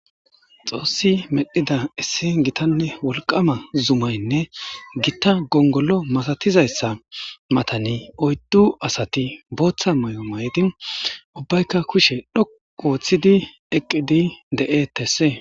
xoossi medhida issi gitanne wolqama zumaynne gitta gongolo masatizayssa matani oyddu asati booththa may7o maydi ubbaykka kushe dho ooththidi eqqidi de7e tesse